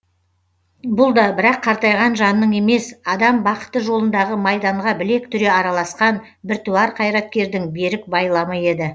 бұл да бірақ қартайған жанның емес адам бақыты жолындағы майданға білек түре араласқан біртуар қайраткердің берік байламы еді